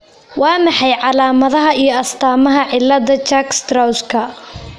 Waa maxay calaamadaha iyo astaamaha cilada Churg Strausska?